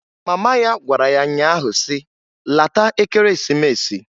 Mama ya gwara ya nya ahụ si, "Lata Ekeresimesi!"